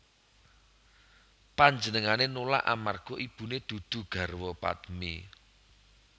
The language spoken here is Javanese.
Panjenengané nulak amarga ibuné dudu garwa padmi